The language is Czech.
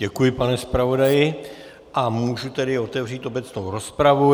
Děkuji, pane zpravodaji, a můžu tedy otevřít obecnou rozpravu.